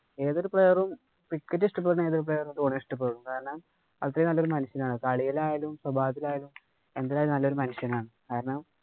Cricket ഇഷ്ടപ്പെടുന്ന ഏതൊരു player ഉം ധോണിയെ ഇഷ്ടപ്പെടും. കാരണം അദ്ദേഹം നല്ല ഒരു മനുഷ്യനാണ്. കാരണം, കളിയിലായാലും, സ്വഭാവത്തിലായാലും എന്തിലായാലും നല്ലൊരു മനുഷ്യനാണ്. കാരണം,